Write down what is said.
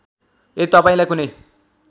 यदि तपाईँलाई कुनै